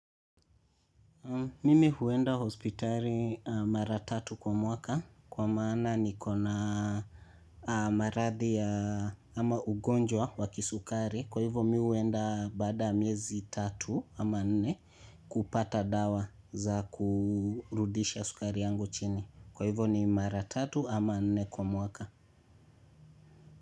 Mimi huenda hospitali mara tatu kwa mwaka kwa maana nikona maradhi ya ama ugonjwa wa kisukari. Kwa hivyo mi huenda bada miezi tatu ama nne kupata dawa za kurudisha sukari yangu chini. Kwa hivyo ni maratatu ama nne kwa mwaka.